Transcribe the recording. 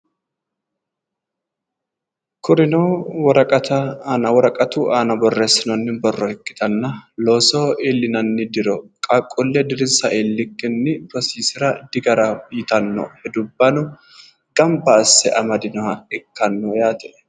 Kurino woraqatu aana borreessinoonni borro ikkitanna loosoho iillinanni diro qaaqquulle dirinsa iilikkinni rosiisira digaraho yitanno hedubbano gamba asse amadinoha ikkanno yaate.